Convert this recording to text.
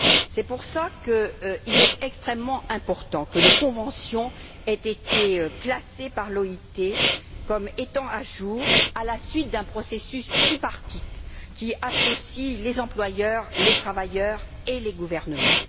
C'est pour cela qu'il est extrêmement important que les conventions aient été classées par l'OIT comme étant à jour à la suite d'un processus tripartite, qui associe les employeurs, les travailleurs et les gouvernements.